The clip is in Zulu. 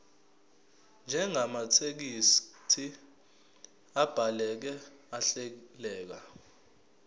njengamathekisthi abhaleke ahleleka